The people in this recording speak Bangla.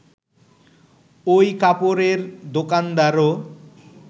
ওই কাপড়ের দোকানদারও